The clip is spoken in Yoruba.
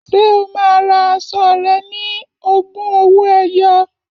Ṣé o máa ra aṣọ rẹ̀ ní ogún owó ẹyọ?